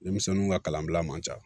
Denmisɛnninw ka kalanbila man ca